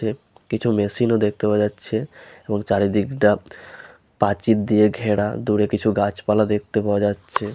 দেখ কিছু মেশিন ও দেখতে পাওয়া যাচ্ছে এবং চারিদিক টা প্রাচীর দিয়ে ঘেরা দূরে কিছু গাছপালা দেখতে পাওয়া যাচ্ছে।